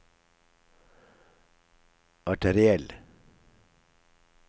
arteriell